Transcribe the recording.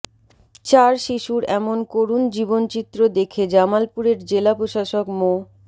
চার শিশুর এমন করুণ জীবনচিত্র দেখে জামালপুরের জেলা প্রশাসক মো